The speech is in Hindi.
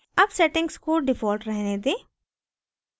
अब settings को default रहने दें